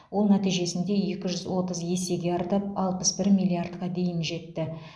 ол нәтижесінде екі жүз отыз есеге артып алпыс бір миллиардқа дейін жетті